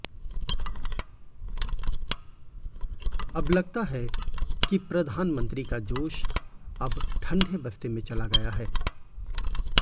अब लगता है कि प्रधानमंत्री का जोश अब ठंडे बस्ते में चला गया है